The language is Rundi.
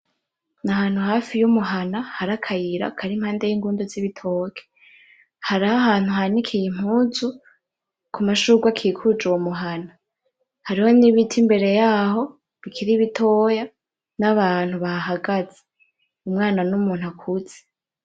Ni ahantu hari y’umuhana hari akayira kari impande y’ingundu z’igitoke, hariho ahantu hanikiye impuzu ku mashurwe akikuje uyo muhana. Hariho n’ibiti imbere yaho bikiri bitoya n’abantu bahahagaze, umwana n’umuntu akuze.